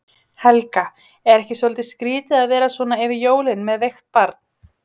Helga: Er ekki svolítið skrýtið að vera svona yfir jólin með veikt barn?